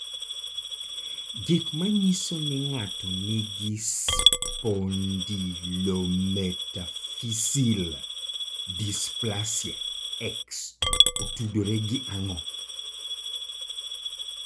Gik manyiso ni ng'ato nigi spondylometaphyseal dysplasia X otudore gi ang'o?